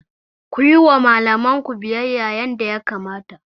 Ku yi wa malamanku biyayya yadda ya kamata!